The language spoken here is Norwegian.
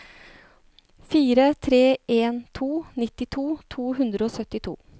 fire tre en to nittito to hundre og syttito